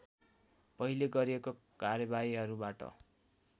पहिले गरिएको कार्यवाहीहरूबाट